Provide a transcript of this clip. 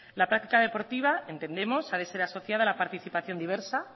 la práctica deportiva entendemos ha de ser asociada a la participación diversa